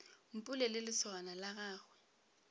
mpule le lesogana la gagwe